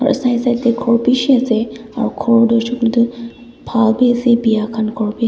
side side teh khor beshi ase aro khor toh hoishikoileto bhal be ase oro biyakan khor bhi a--